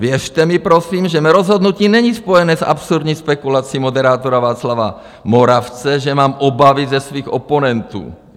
Věřte mi prosím, že mé rozhodnutí není spojené s absurdní spekulací moderátora Václava Moravce, že mám obavy ze svých oponentů.